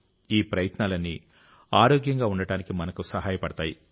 ఈ ప్రయత్నాలన్నీ ఆరోగ్యంగా ఉండటానికి మనకు సహాయపడతాయి